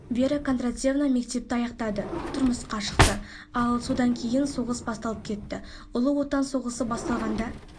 вера кондратьевна мектепті аяқтады тұрмысқа шықты ал содан кейін соғыс басталып кетті ұлы отан соғысы басталғанда